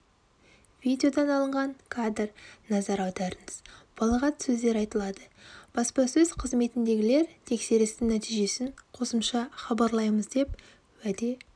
видеодан алынған кадр назар аударыңыз балағат сөздер айтылады баспасөз қызметіндегілер тексерістің нәтижесін қосымша хабарлаймыз деп уәде